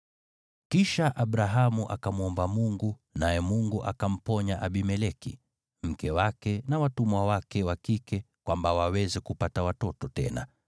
Kisha Abrahamu akamwomba Mungu, naye Mungu akamponya Abimeleki, mke wake, na watumwa wake wa kike kwamba waweze kupata watoto tena,